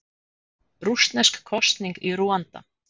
Rússnesk kosning í Rúanda